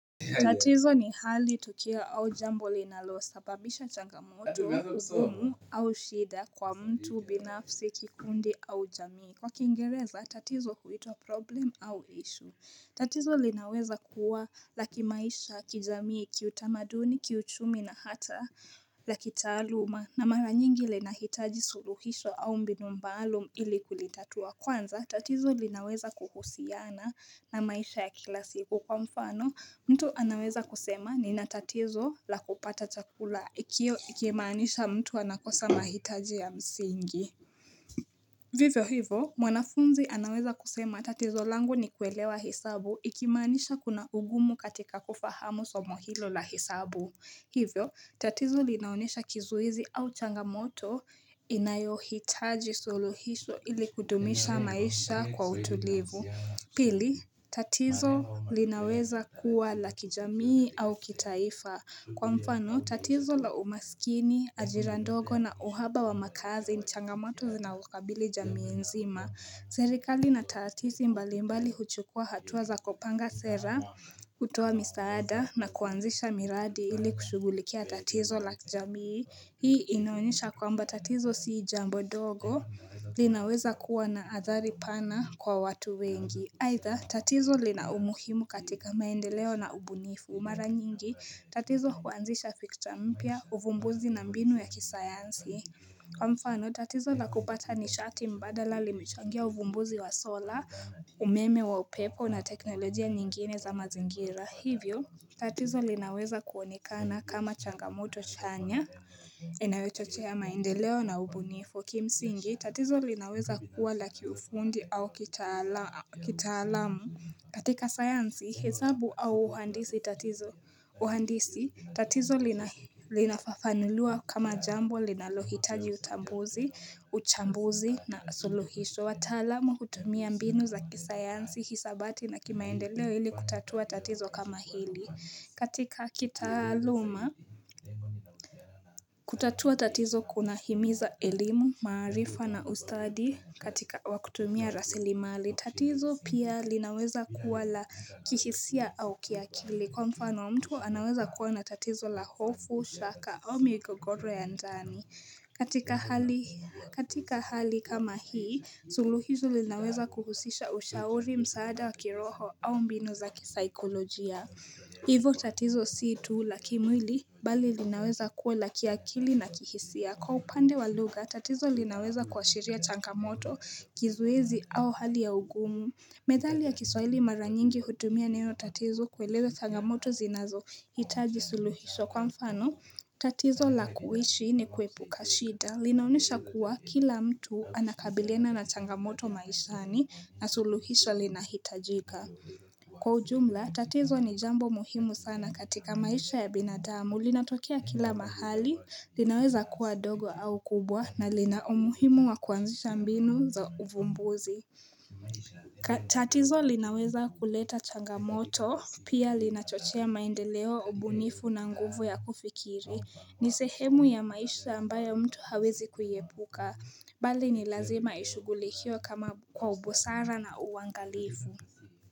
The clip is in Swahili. Tatizo ni hali tukio au jambo linalo sababisha changamoto, ugumu au shida kwa mtu binafsi kikundi au jamii. Kwa kingereza tatizo huitwa problem au issue. Tatizo linaweza kuwa la kimaisha kijamii kiutamaduni kiuchumi na hata la kitaluma na mara nyingi lina hitaji suluhisho au mbinu maalum ili kulitatua. Kwanza, tatizo linaweza kuhusiana na maisha ya kila siku kwa mfano, mtu anaweza kusema ni na tatizo la kupata chakula, ikio ikimaanisha mtu anakosa mahitaji ya msingi. Vivo hivo, mwanafunzi anaweza kusema tatizo langu ni kuelewa hesabu, ikimaanisha kuna ugumu katika kufahamu somo hilo la hesabu. Hivyo, tatizo linaonesha kizuizi au changamoto inayohitaji suluhisho ili kudumisha maisha kwa utulivu. Pili, tatizo linaweza kuwa la kijamii au kitaifa. Kwa mfano, tatizo la umasikini, ajira ndogo na uhaba wa makazi ni changamoto zinazokabili jamii nzima. Zerikali na tatizi mbali mbali huchukua hatuwa za kopanga sera kutoa misaada na kuanzisha miradi ili kushugulikia tatizo la jamii Hii inaonyesha kwamba tatizo sii jambo dogo linaweza kuwa na athari pana kwa watu wengi aidha tatizo lina umuhimu katika maendeleo na ubunifu mara nyingi tatizo huanzisha fikta mpya uvumbuzi na mbinu ya kisayansi Kwa mfano tatizo la kupata nishati mbadala limechangia uvumbuzi wa sola, umeme wa upepo na teknolojia nyingine za mazingira Hivyo, tatizo linaweza kuonekana kama changamoto chanya inayochochea maendeleo na ubunifu Kimsingi, tatizo linaweza kuwa la kiufundi au kitaalamu katika sayansi, hesabu au uhandisi tatizo. Uhandisi tatizo linafafanuliwa kama jambo linalohitaji utambuzi, uchambuzi na suluhisho. Watalamu jutumia mbinu za kisayansi, hisabati na kimaendeleo hili kutatua tatizo kama hili. Katika kitaaluma, kutatua tatizo kuna himiza elimu, maarifa na ustadi katika wakutumia rasili mali. Tatizo pia linaweza kuwa la kihisia au kiakili. Kwa mfano mtu anaweza kuwa na tatizo la hofu, shaka au migogoro ya njani. Katika hali kama hii, suluhisho linaweza kuhusisha ushauri msaada wa kiroho au mbinu za kisaikolojia. Hivo tatizo si tu labkimwili bali linaweza kuwa la kiakili na kihisia Kwa upande wa lugha tatizo linaweza kuashiria changamoto kizuizi au hali ya ugumu Medhali ya kiswahili mara nyingi hutumia neno tatizo kueleza changamoto zinazo hitaji suluhisho kwa mfano tatizo la kuishi ni kuepuka shida linaonesha kuwa kila mtu anakabiliana na changamoto maishani na suluhisho linahitajika Kwa ujumla, tatizo ni jambo muhimu sana katika maisha ya binadamu, linatokea kila mahali, linaweza kuwa dogo au kubwa na lina umuhimu wa kuanzisha mbinu za uvumbuzi tatizo linaweza kuleta changamoto, pia linachochea maendeleo, ubunifu na nguvu ya kufikiri, ni sehemu ya maisha ambayo mtu hawezi kuiepuka, bali ni lazima ishughilikiwe kama kwa ubusara na uangalifu.